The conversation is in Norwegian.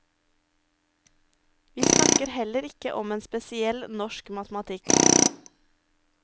Vi snakker heller ikke om en spesiell norsk matematikk.